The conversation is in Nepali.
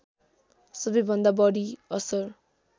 सबैभन्दा बढी असर